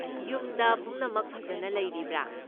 ꯌꯨꯝꯗ ꯄꯨꯝꯅꯃꯛ ꯐꯖꯅ ꯂꯩꯔꯤꯕ꯭ꯔꯥ?